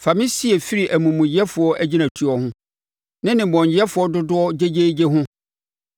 Fa me sie firi amumuyɛfoɔ agyinatuo ho, ne nnebɔneyɛfoɔ dodoɔ no gyegyeegyeyɛ ho.